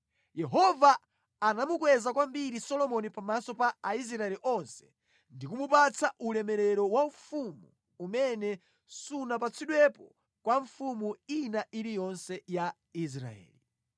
Yehova anamukweza kwambiri Solomoni pamaso pa Aisraeli onse ndi kumupatsa ulemerero waufumu umene sunapatsidwepo kwa mfumu ina iliyonse ya Israeli.